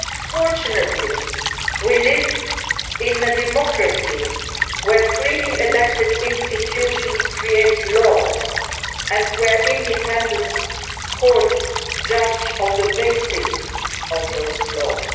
Fortunately we live in a democracy where freely elected institutions create law and where independent courts judge on the basis of those laws.